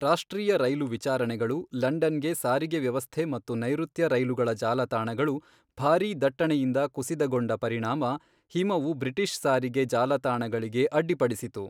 ರಾಷ್ಟ್ರೀಯ ರೈಲು ವಿಚಾರಣೆಗಳು, ಲಂಡನ್ಗೆ ಸಾರಿಗೆ ವ್ಯವಸ್ಥೆ ಮತ್ತು ನೈಋತ್ಯ ರೈಲುಗಳ ಜಾಲತಾಣಗಳು ಭಾರೀ ದಟ್ಟಣೆಯಿಂದ ಕುಸಿತಗೊಂಡ ಪರಿಣಾಮ ಹಿಮವು ಬ್ರಿಟಿಷ್ ಸಾರಿಗೆ ಜಾಲತಾಣಗಳಿಗೆ ಅಡ್ಡಿಪಡಿಸಿತು.